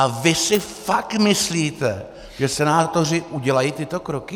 A vy si fakt myslíte, že senátoři udělají tyto kroky?